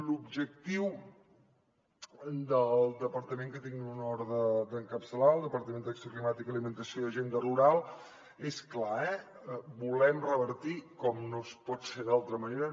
l’objectiu del departament que tinc l’honor d’encapçalar el departament d’acció climàtica alimentació i agenda rural és clar eh volem revertir com no pot ser d’altra manera